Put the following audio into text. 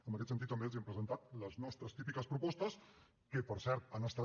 en aquest sentit també els hem presentat les nostres típiques propostes que per cert han estat